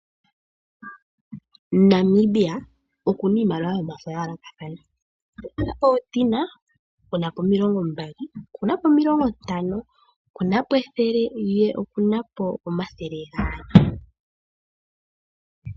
Namibia okuna iimaliwa yomafo ya yoolokathana oku na oondola omulongo, e na omilongo mbali, e na omilongo ntano, e na po ethele noshowo omathele gaali.